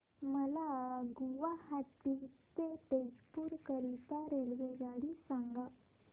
मला गुवाहाटी ते तेजपुर करीता रेल्वेगाडी सांगा